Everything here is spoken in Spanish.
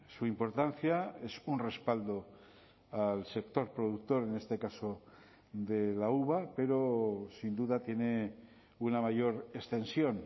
su importancia es un respaldo al sector productor en este caso de la uva pero sin duda tiene una mayor extensión